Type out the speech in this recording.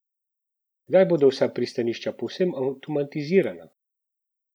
Kdaj bodo vsa pristanišča povsem avtomatizirana?